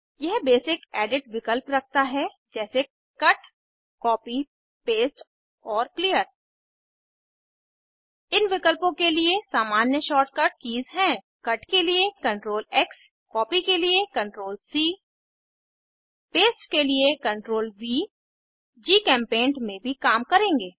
यह basic edit विकल्प रखता है जैसे कट कॉपी पेस्ट और क्लियर इन विकल्पों के लिए सामान्य शार्ट कट कीज़ हैं कट के लिए CTRLX कॉपी के लिए CTRLC पेस्ट के लिए CTRLV जीचेम्पेंट में भी काम करेंगे